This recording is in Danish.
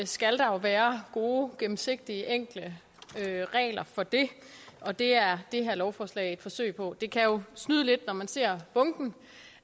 skal der være gode gennemsigtige og enkle regler for det og det er det her lovforslag et forsøg på det kan jo snyde lidt når man ser bunken